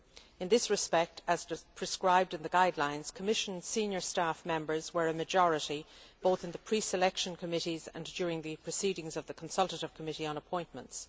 In this respect, as was prescribed in the guidelines, Commission senior staff members were a majority both in the pre selection committees and during the proceedings of the Consultative Committee on Appointments.